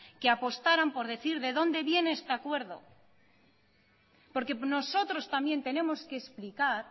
que apostarán por decir de dónde viene este acuerdo porque nosotros también tenemos que explicar